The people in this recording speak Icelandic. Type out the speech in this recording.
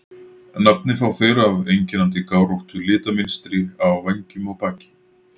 Nafnið fá þeir af einkennandi gáróttu litamynstri á vængjum og baki.